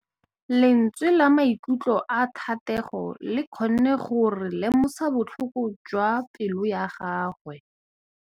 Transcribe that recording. Lentswe la maikutlo a Thategô le kgonne gore re lemosa botlhoko jwa pelô ya gagwe.